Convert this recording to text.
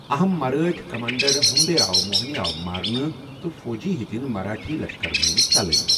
اہم مرٲٹھۍ کمانڈر ہمبی راو موہَنے آو مارنہٕ تہٕ فوجی ہیٚتن مراٹھی لشکر منزٕ ژلٕنۍ ۔